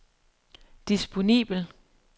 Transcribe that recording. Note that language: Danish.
disponibel